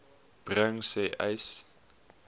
bring sê uys